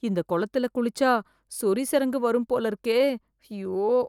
இந்த குளத்துல குளிச்சா சொறி சிரங்கு வரும் போல இருக்கே ஐயோ.